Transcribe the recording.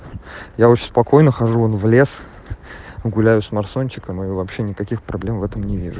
я вообще спокойно хожу в лес гуляю с марсончиком и мы вообще никаких проблем в этом не вижу